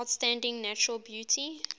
outstanding natural beauty